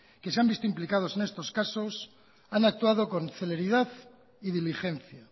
que se han visto implicados en estos casos han actuado con celeridad y diligencia